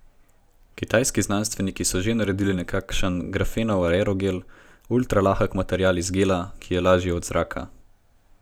Kitajski znanstveniki so že naredili nekakšen grafenov aerogel, ultralahek material iz gela, ki je lažji od zraka.